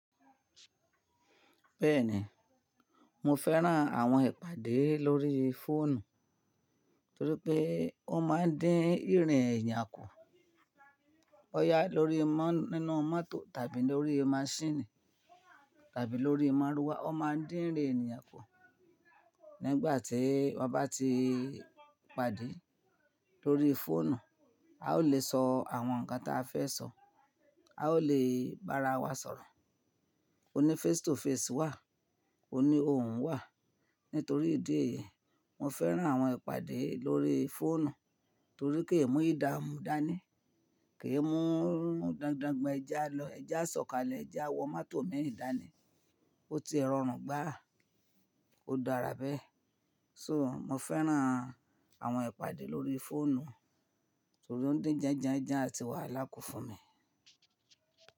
Bẹ́ẹ̀ni, mo fẹ́ràn àwọn ìpàdé lórí fóònù torí pé ó máa ń dín ìrìn èèyàn kù. Ó yá lórí nínú mọ́tò tàbí lórí maṣíìnì tàbí lórí ì mọ̀ruwa, ó máa ń dín ìrìn èniyàn kù. Nígbà tí wọ́n bá ti pàdé lórí fóònù, a ó lè sọ àwọn ǹnkan tí a fẹ́ sọ, a ó lè bára wa sọ̀rọ̀. Ó ní face to face wà, ó ní òhun wà. Nítorí ìdí èyí, mo fẹ́ràn àwọn ìpàdé lórí fóònù torí pé kèmu ídámú dání, kì í mú dandangban ẹ ji a lọ, ẹji a sọ̀kalẹ̀, ẹji a wọ mọ́tò mii dání. Ó ti e rọrùn gbáa, ó dára bẹ́ẹ̀. So mo fẹ́ràn àwọn ìpàdé lórí fóònù torí ó ń dín janjanjan àti wàhálà kù fún mi.